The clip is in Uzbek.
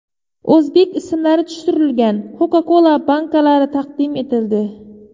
O‘zbek ismlari tushirilgan Coca-Cola bankalari taqdim etildi.